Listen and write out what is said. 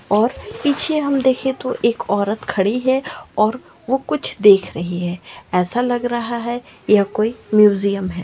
और पीछे हम देखे तो एक औरत खड़ी है और वो कुछ देख रही है ऐसा लग रहा है यह कोई म्यूजियम है।